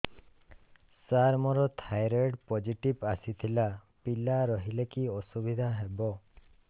ସାର ମୋର thyroid positive ଆସିଥିଲା ପିଲା ରହିଲେ କି ଅସୁବିଧା ହେବ